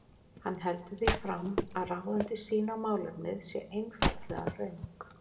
Hann heldur því fram að ráðandi sýn á málefnið sé einfaldlega röng.